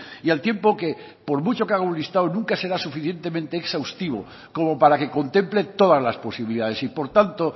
y al tiempo que por mucho que haga un listado nunca será suficientemente exhaustivo como para que contemple todas las posibilidades y por tanto